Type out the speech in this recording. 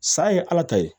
Sa ye ala ta ye